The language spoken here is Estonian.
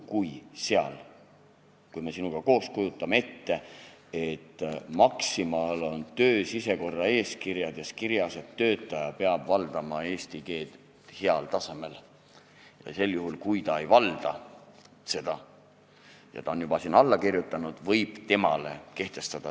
Kui me sinuga koos kujutame ette, et Maximal on töö sisekorraeeskirjas kirjas, et töötaja peab valdama eesti keelt heal tasemel, ja kui ta ei valda seda, aga on juba sinna alla kirjutanud, võib temale neid kehtestada.